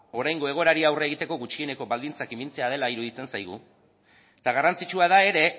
oraingo egoerari aurre egiteko gutxieneko baldintzak ipintzea dela iruditzen zaigu eta garrantzitsua da ere